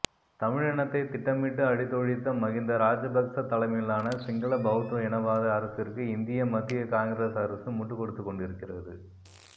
தமிழினத்தை திட்டமிட்டு அழித்தொழித்த மகிந்த ராஜபக்ச தலைமையிலான சிங்கள பெளத்த இனவாத அரசிற்கு இந்திய மத்திய காங்கிரஸ் அரசு முட்டுக்கொடுத்துக்கொண்டிருக்கி